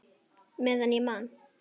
Meðan ég man!